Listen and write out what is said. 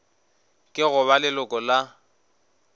ke go ba leloko la